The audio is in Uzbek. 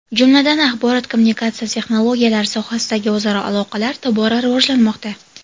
Jumladan, axborot-kommunikatsiya texnologiyalari sohasidagi o‘zaro aloqalar tobora rivojlanmoqda.